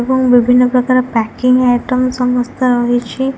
ଏବଂ ବିଭିନ୍ନ ପ୍ରକାର ପ୍ୟକିଙ୍ଗ ଆଇଟମ ସମସ୍ତ ହୋଇଛି।